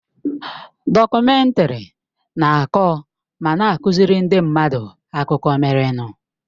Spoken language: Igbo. Dọkumèntari na-akọ ma na-akụziri ndị mmadụ akụkọ merenụ.